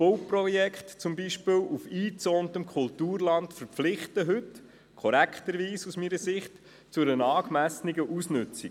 Bauprojekte, die sich zum Beispiel auf eingezäuntem Kulturland befinden, verpflichten heute zu einer angemessenen Ausnutzung, was aus meiner Sicht korrekt ist.